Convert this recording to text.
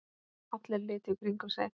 Allir litu í kringum sig.